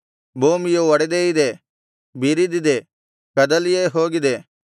ಭೂಮಿಯು ಒಡೆದೇ ಇದೆ ಬಿರಿದಿದೆ ಕದಲಿಯೇ ಹೋಗಿದೆ